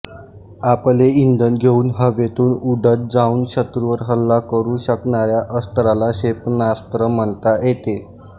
आपले इंधन घेऊन हवेतून उडत जाउन शत्रूवर हल्ला करू शकणाऱ्या अस्त्राला क्षेपणास्त्र म्हणता येते